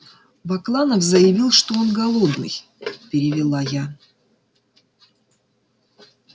бакланов заявил что он голодный перевела я